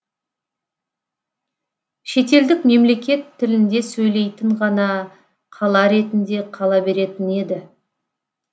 шетелдік мемлекет тілінде сөйлейтін ғана қала ретінде қала беретін еді